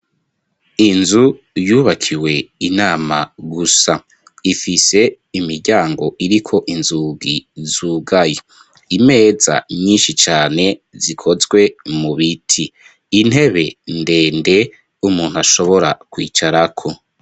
Inzu yubakiwe inama gusa ifise imiryango iriko inzugi zugaye imeza nyinshi cane zikozwe mu biti intebe ndende umuntu ashobora kwicarako.